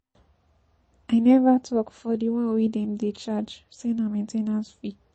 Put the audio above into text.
I never talk for de one wey dem dey charge say na main ten ce fee.